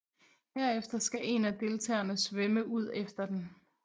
Herefter skal en af deltagerne svømme ud efter den